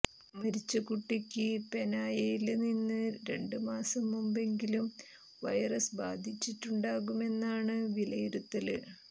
മരിച്ച കുട്ടിക്ക് പേനായയില്നിന്ന് രണ്ട് മാസം മുമ്പെങ്കിലും വൈറസ് ബാധിച്ചിട്ടുണ്ടാകുമെന്നാണ് വിലയിരുത്തല്